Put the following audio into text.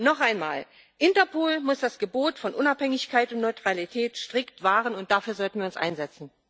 Noch einmal Interpol muss das Gebot von Unabhängigkeit und Neutralität strikt wahren, und dafür sollten wir uns einsetzen.